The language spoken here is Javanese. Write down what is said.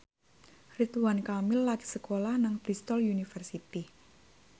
Ridwan Kamil lagi sekolah nang Bristol university